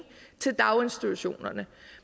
til daginstitutionerne